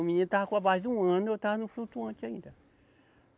O menino estava com a base de um ano, eu estava no flutuante ainda.